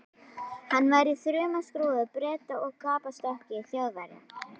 Hann var í þumalskrúfu Breta og gapastokki Þjóðverja.